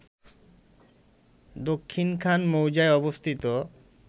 দক্ষিণখান মৌজায় অবস্থিত